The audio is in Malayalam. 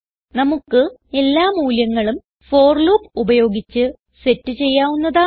നമുക്ക് എല്ലാ മൂല്യങ്ങളും ഫോർ ലൂപ്പ് ഉപയോഗിച്ച് സെറ്റ് ചെയ്യാവുന്നതാണ്